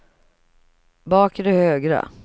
bakre högra